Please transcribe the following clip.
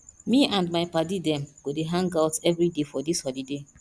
me and my paddy dem go dey hangout everyday for dis holiday